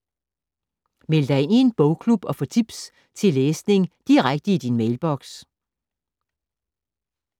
Meld dig ind i en bogklub og få tips til læsning direkte i din mailboks